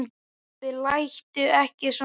Pabbi láttu ekki svona.